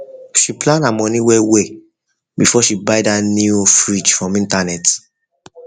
she plan her money well well before she buy that new fridge from internet